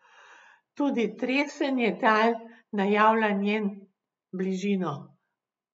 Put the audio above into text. Tudi tresenje tal najavlja njen bližino.